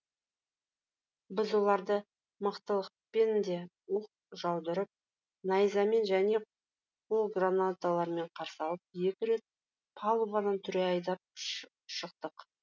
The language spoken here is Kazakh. біз оларды мықтылықпен де оқ жаудырып найзамен және қол гранаталарымен қарсы алып екі рет палубадан түре айдап шықтық